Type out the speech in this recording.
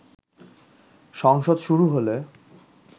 সংসদ শুরু হলে